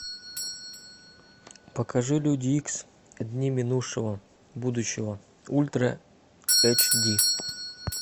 покажи люди икс дни минувшего будущего ультра эйч ди